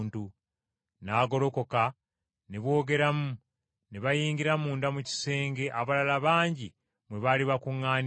N’agolokoka ne boogeramu, ne bayingira munda mu kisenge abalala bangi mwe baali bakuŋŋaanidde.